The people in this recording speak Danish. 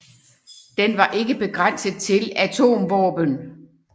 Den var ikke begrænset til atomvåben